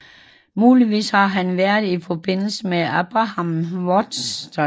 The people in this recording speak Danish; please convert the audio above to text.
Muligvis har han været i forbindelse med Abraham Wuchters